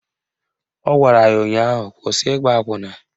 Ọ gwara ya ụnyaahụ "Kwụsị ịgba akwụna"!